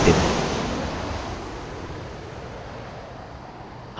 और हमें कोई और फील्ड की आवश्यकता नहीं है यह अंतिम है